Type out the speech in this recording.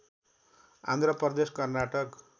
Andhra Pradesh Karnataka